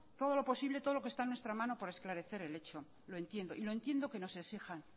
todo lo posible todo lo que está en nuestra mano para esclarecer el hecho lo entiendo y lo entiendo que nos exijan